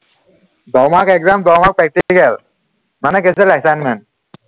দহ mark exam দহ mark practical মানে কি হৈছে assignment